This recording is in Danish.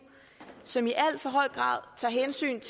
som i alt for høj grad tager hensyn